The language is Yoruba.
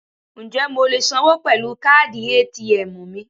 Ǹjẹ́ mo lè sanwó pẹ̀lú káàdì ATM mi?